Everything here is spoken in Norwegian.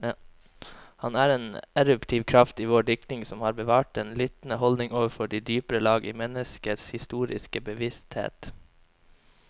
Han er en eruptiv kraft i vår diktning, som har bevart den lyttende holdning overfor de dypere lag i menneskets historiske bevissthet.